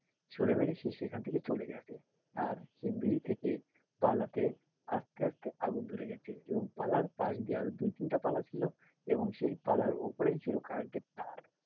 ছুঁড়ে মেরে সে সেখান থেকে চলে গেছে আর সেই বিড়ি ঠে কাল রাতে আসতে আসতে আগুন ধরে গেছে এবং পালার পাস দিয়ে আরও দুই তিনটা পালা ছিল এবং সেই পালার ওপরেই ছিল current এর তার,